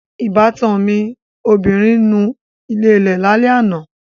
Ìbátan mi obìnrin nu ilẹ̀lẹ́ẹ̀ lálẹ́ àná